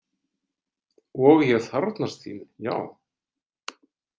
Og ég þarfnast þín, já.